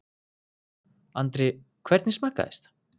Andri: Hvernig smakkaðist?